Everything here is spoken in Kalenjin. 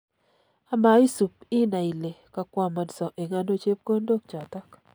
Ama isup inai ile kakwamansa eng' ano chepkondok chotok